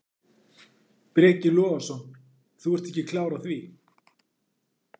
Breki Logason: Þú ert ekki klár á því?